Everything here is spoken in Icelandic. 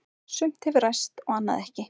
Sumt hefur ræst og annað ekki.